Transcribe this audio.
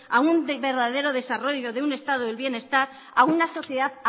a un verdadero desarrollo de un estado del bienestar a una sociedad